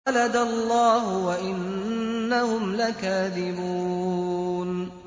وَلَدَ اللَّهُ وَإِنَّهُمْ لَكَاذِبُونَ